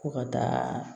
Ko ka taa